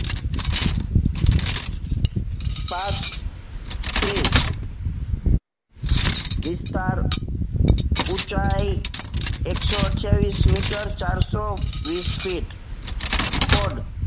પાંચ ત્રીસ વિસ્તાર ઉંચાઇ એક સો અઢીયાવીશ મીટર ચાર સો વીસ ફીટ કોડ